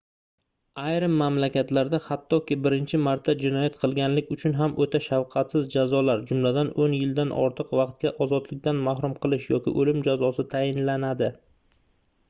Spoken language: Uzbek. ayrim mamlakatlarda xattoki birinchi marta jinoyat qilganlik uchun ham oʻta shafqatsiz jazolar jumladan 10 yildan ortiq vaqtga ozodlikdan mahrum qilish yoki oʻlim jazosi tayinlanadi